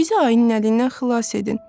Bizi ayının əlindən xilas edin.